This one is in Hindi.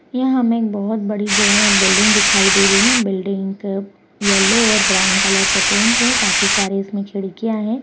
यहाँ हमें एक बहौत बड़ी जो हे बिल्डिंग दिखाई दे रही है बिल्डिंग क येलो और ब्राउन कलर से पेंट है काफी सारी इसमें खिड़कियां हैं।